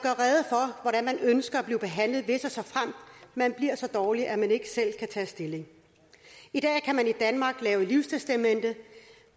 at man ønsker at blive behandlet hvis man bliver så dårlig at man ikke selv kan tage stilling i dag kan man i danmark lave et livstestamente